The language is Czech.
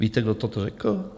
Víte, kdo toto řekl?